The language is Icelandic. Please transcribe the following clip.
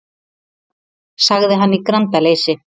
sagði hann í grandaleysi.